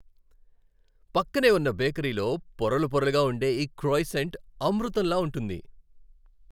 పక్కనే ఉన్న బేకరీలో పొరలు పొరలుగా ఉండే ఈ క్రోయిసెంట్ అమృతంలా ఉంటుంది.